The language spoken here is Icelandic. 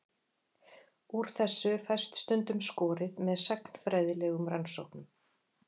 Úr þessu fæst stundum skorið með sagnfræðilegum rannsóknum.